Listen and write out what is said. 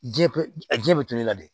Ji be a ji be toli i la de